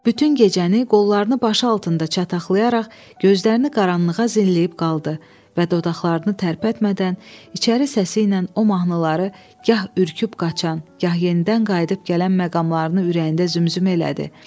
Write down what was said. Bütün gecəni qollarını başı altında çataqlayaraq, gözlərini qaranlığa zilləyib qaldı və dodaqlarını tərpətmədən, içəri səsi ilə o mahnıları gah ürküb qaçan, gah yenidən qayıdıb gələn məqamlarını ürəyində zümzüm elədi.